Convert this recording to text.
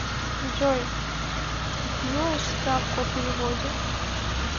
джой дпюашь справку о переводе